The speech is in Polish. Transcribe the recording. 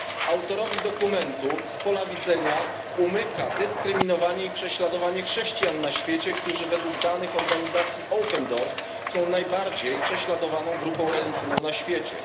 Autorowi dokumentu z pola widzenia umyka dyskryminowanie i prześladowanie chrześcijan na świecie, którzy według danych organizacji Open Doors są najbardziej prześladowaną grupą religijną na świecie.